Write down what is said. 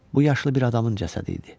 Bu yaşlı bir adamın cəsədi idi.